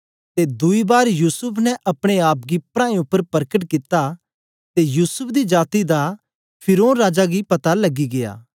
ते दुई बार युसूफ ने अपने आप गी प्राऐं उपर परकट कित्ता ते युसूफ दी जाती दा फिरौन राजा गी पता लगी गया